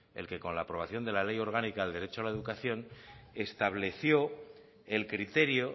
el que con la aprobación de la ley orgánica del derecho a la educación estableció el criterio